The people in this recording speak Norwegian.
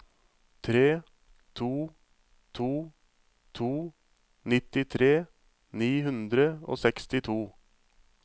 tre to to to nittitre ni hundre og sekstito